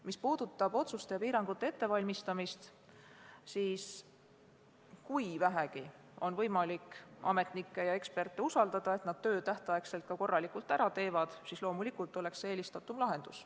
Mis puudutab otsuste ja piirangute ettevalmistamist, siis kui on vähegi võimalik usaldada ametnikke ja eksperte, et nad töö tähtajaks korralikult ära teevad, on loomulikult see eelistatuim lahendus.